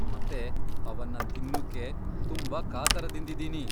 ಮತ್ತೆ ಅವನ್ನ ತಿನ್ನೂಕ್ಕೆ ತುಂಬಾ ಕಾತರದಿಂದಿದೀನಿ.